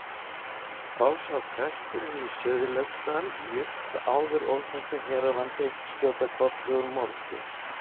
Þá sá presturinn í Sauðlauksdal jurt áður óþekkta hér á landi skjóta kolli úr moldu.